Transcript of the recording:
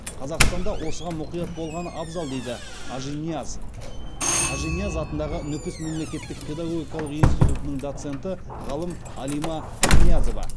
қазақстан да осыған мұқият болғаны абзал дейді ажинияз ажинияз атындағы нүкіс мемлекеттік педагогикалық институтының доценті ғалым алима пірниязова